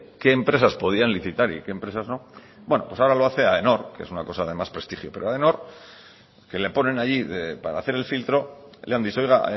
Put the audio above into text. qué empresas podían licitar y qué empresas no bueno pues ahora lo hace aenor que es una cosa de más prestigio pero aenor que le ponen allí para hacer el filtro le han dicho oiga